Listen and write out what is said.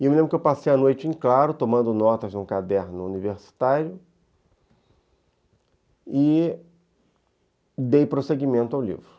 E eu me lembro que eu passei a noite em claro, tomando notas num caderno universitário, e dei prosseguimento ao livro.